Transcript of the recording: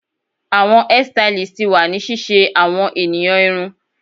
Awọn hairstylist ti wa ni ṣiṣe awọn eniyan irun